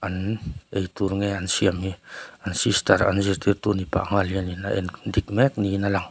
mmm eitur nge an siam hi an sister an zirtirtu nih pah nghal hianin a en dik mek niin a lang.